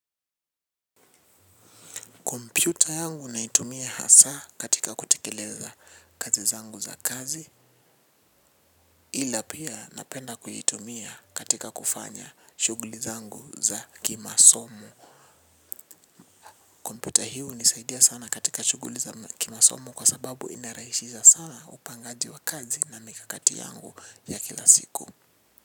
Kompiuta yangu naitumia hasa katika kutekileza kazi zangu za kazi ila pia napenda kuitumia katika kufanya shuguli zangu za kimasomo. Kompyuta hio unisaidia sana katika shuguli za kimasomo kwa sababu inaraishiza sana upangaji wa kazi na mikakati yangu ya kila siku.